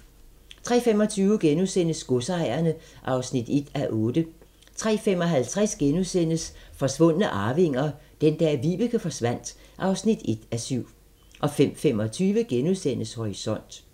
03:25: Godsejerne (1:8)* 03:55: Forsvundne arvinger: Den dag Vibeke forsvandt (1:7)* 05:25: Horisont *